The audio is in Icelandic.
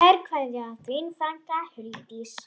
Kær kveðja, þín frænka Huldís.